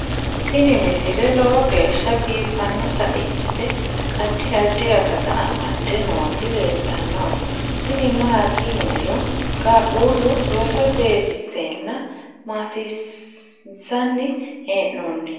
tini misile lowo geeshsha biiffannota ikkite addi addi akata amadde nooti leeltannoe tini maati yiniro qaqullu roso jeefisseenna maassiinsanni hee'noonninsa